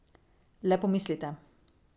Le pomislite.